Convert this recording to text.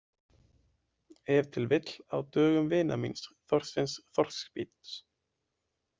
Ef til vill á dögum vinar míns Þorsteins þorskabíts.